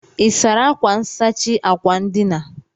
Ị́ sara akwa nsachi akwa ndina?